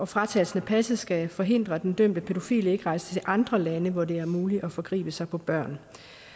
fratagelsen af passet skal forhindre at den dømte pædofile rejser til andre lande hvor det er muligt at forgribe sig på børn